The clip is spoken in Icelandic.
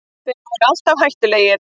Þeir voru alltaf hættulegir